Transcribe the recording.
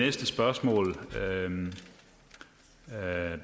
næste spørgsmål vil jeg